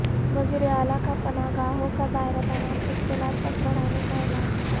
وزیراعلی کا پناہ گاہوں کا دائرہ تمام اضلاع تک بڑھانے کااعلان